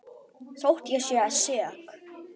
Þótt ég sé sek.